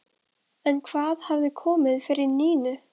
En hvað hafði komið fyrir Nínu?